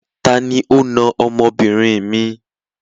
Tani ó na ọmọbìnrin mi?